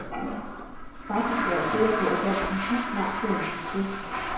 Faktisk er jeg sikker på, at dansk musik snart bliver en succes.